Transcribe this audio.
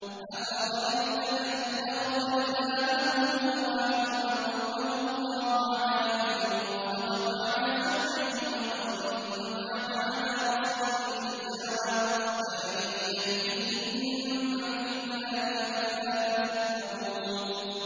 أَفَرَأَيْتَ مَنِ اتَّخَذَ إِلَٰهَهُ هَوَاهُ وَأَضَلَّهُ اللَّهُ عَلَىٰ عِلْمٍ وَخَتَمَ عَلَىٰ سَمْعِهِ وَقَلْبِهِ وَجَعَلَ عَلَىٰ بَصَرِهِ غِشَاوَةً فَمَن يَهْدِيهِ مِن بَعْدِ اللَّهِ ۚ أَفَلَا تَذَكَّرُونَ